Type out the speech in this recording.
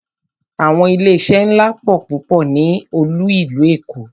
Àwọn ilé iṣé ńlá pọ̀ púpọ̀ ní olú ìlú Èkó.